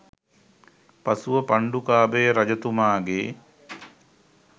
පසුව පණ්ඩුකාභය රජතුමා ගේ්